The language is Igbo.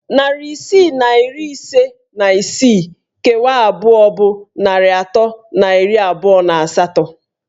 Narị isii na iri ise na isii kewaa abụọ bụ narị atọ na iri abụọ na asatọ.